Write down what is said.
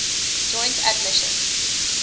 joint admission